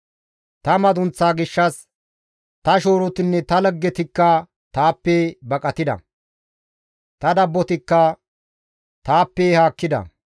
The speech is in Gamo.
Ta madunththa gaason ta shoorotinne ta laggetikka taappe baqatida; Ta dabbotikka taappe haakkida.